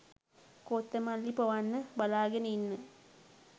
කොත්තමල්ලි පොවන්න බලාගෙන ඉන්න